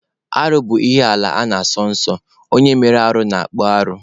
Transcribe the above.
Arụ bụ ihe ala na-asọ nsọ, onye mere arụ na-akpụ arụ.